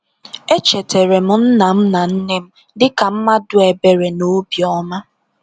Echetara m nna m na nne m dịka mmadụ ebere na obiọma.